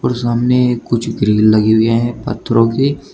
सामने कुछ ग्रिल लगी हुए हैं पत्थरों की